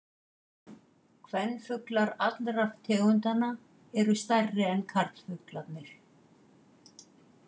Kvenfuglar allra tegundanna eru stærri en karlfuglarnir.